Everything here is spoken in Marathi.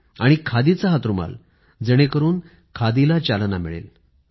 तो देखील खादीचा हातरुमाल जेणेकरून खादीला चालना मिळेल